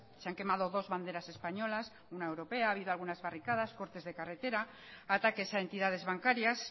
se han quemado dos banderas españolas una europea ha habido algunas barricadas cortes de carretera ataques a entidades bancarias